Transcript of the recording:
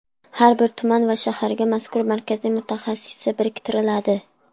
Har bir tuman va shaharga mazkur markazning mutaxassisi biriktiriladi.